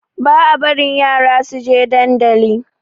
Ba a barin yara suje dandali